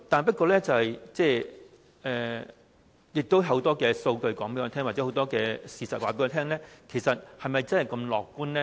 不過，亦有很多數據和事實告訴我們，其實是否真的如此樂觀呢？